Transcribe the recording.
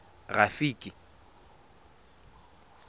rafiki